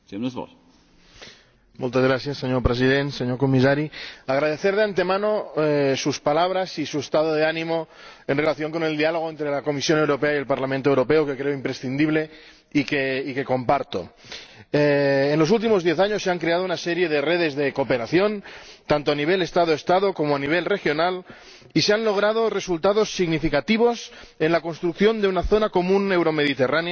Señor Presidente, señor Comisario, quisiera agradecer de antemano sus palabras y su estado de ánimo en relación con el diálogo entre la Comisión Europea y el Parlamento Europeo, que creo imprescindible y que comparto. En los últimos diez años se han creado una serie de redes de cooperación, tanto a nivel Estado Estado como a nivel regional, y se han logrado resultados significativos en la construcción de una zona común euromediterránea de investigación e innovación.